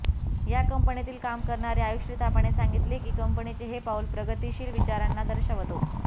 या कंपनीत काम करणारी आयुश्री थापाने सांगितले की कंपनीचे हे पाऊल प्रगतिशील विचारांना दर्शवतो